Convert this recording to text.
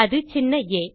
அது சின்ன ஆ